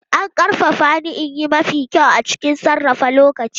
An ƙarfafa ni in yi mafi kyau a cikin sarrafa lokaci.